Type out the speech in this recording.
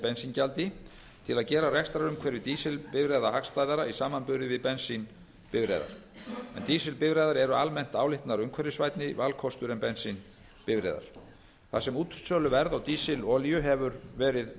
bensíngjaldi til að gera rekstrarumhverfi dísilbifreiða hagstæðara í samanburði við bensínbifreiðar en dísilbifreiðar eru almennt álitnar umhverfisvænni valkostur en bensínbifreiðar þar sem útsöluverð á dísilolíu hefur verið